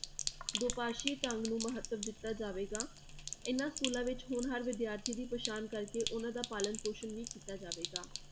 ਦੋ ਪਾਸੀ ਢੰਗ ਨੂੰ ਮਹੱਤਵ ਦਿੱਤਾ ਜਾਵੇਗਾ, ਇਹਨਾਂ schools ਵਿੱਚ ਹੋਣਹਾਰ ਵਿਦਿਆਰਥੀ ਦੀ ਪਹਿਚਾਣ ਕਰਕੇ ਉਹਨਾਂ ਦਾ ਪਾਲਣ ਪੌਸ਼ਣ ਵੀ ਕੀਤਾ ਜਾਵੇਗਾ।